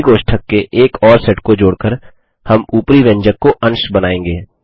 curly कोष्ठक के एक और सेट को जोड़ कर हम उपरी व्यंजक को अंश बनाएँगे